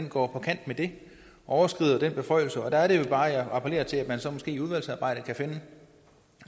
på kant med det og overskrider den beføjelse og der er det bare jeg appellerer til at man så måske i udvalgsarbejdet kan finde